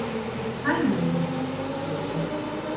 Hægan ljúfan, sagði Gunnsteinn.